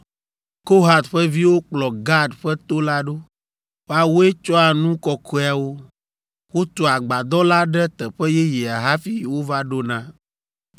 Kohat ƒe viwo kplɔ Gad ƒe to la ɖo. Woawoe tsɔa nu kɔkɔeawo. Wotua agbadɔ la ɖe teƒe yeyea hafi wova ɖona.